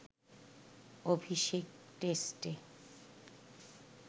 অভিষেক টেস্টে